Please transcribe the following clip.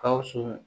Gawusu